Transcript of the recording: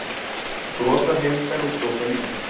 Brotahreyfingar og brotalínur